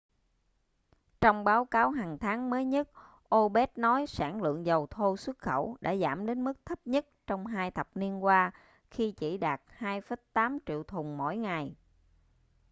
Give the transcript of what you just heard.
trong báo cáo hằng tháng mới nhất opec nói sản lượng dầu thô xuất khẩu đã giảm đến mức thấp nhất trong hai thập niên qua khi chỉ đạt 2,8 triệu thùng mỗi ngày